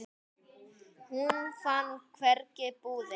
Hún fann hvergi búðina.